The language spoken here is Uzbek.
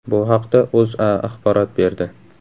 Bu haqda O‘zA axborot berdi .